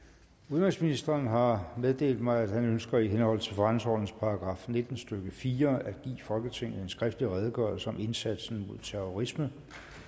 udenrigsministeren har meddelt mig at han ønsker i henhold til forretningsordenens § nitten stykke fire at give folketinget en skriftlig redegørelse om indsatsen mod terrorisme